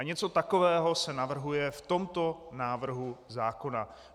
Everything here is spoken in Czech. A něco takového se navrhuje v tomto návrhu zákona.